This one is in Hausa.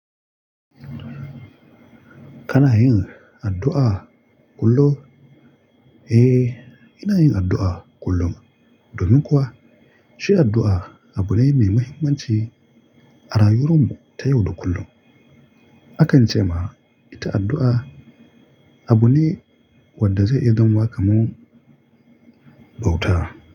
Kana yin addu'a kullum? Eh, ina yin addu'a kullum. Domin kuwa shi addu'a abu ne mai mahimmanci a rayuwar mu ta yau da kullum. Akan ce ma ita addu'a abu ne wanda zai iya zama kamar bauta.